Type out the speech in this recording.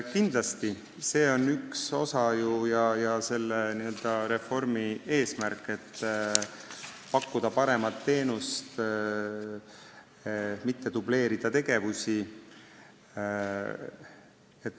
Kindlasti, see on ju selle reformi üks osa ja eesmärk – pakkuda paremat teenust, mitte dubleerida tegevusi.